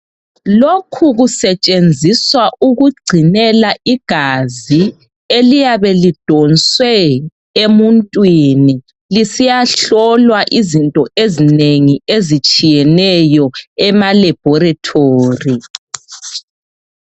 Lokhu kusetshenziswa ukugcinela igazi eliyabe lidonswe emuntwini lisiyahlolwa izinto ezinengi ezitshiyeneyo ema laboratory.